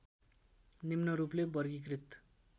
निम्न रूपले वर्गीकृत